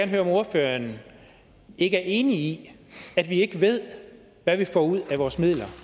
høre om ordføreren ikke er enig i at vi ikke ved hvad vi får ud af vores midler